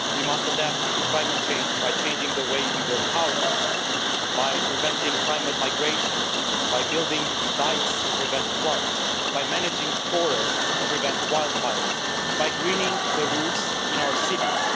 We must adapt to climate change by changing the way we build houses, by preventing climate migration, by building dykes to prevent floods, by managing forests to prevent wildfires, by greening the roofs in our cities.